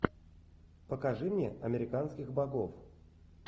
покажи мне американских богов